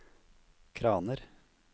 kraner